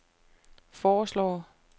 foreslår